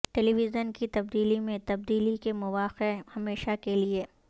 ٹیلی vision کی تبدیلی میں تبدیلی کے مواقع ہمیشہ کے لئے